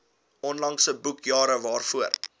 onlangse boekjare waarvoor